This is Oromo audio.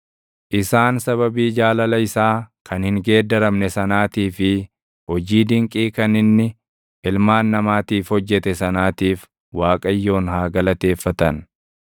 Isaan sababii jaalala isaa kan hin geeddaramne sanaatii fi hojii dinqii kan inni ilmaan namaatiif hojjete sanaatiif // Waaqayyoon haa galateeffatan.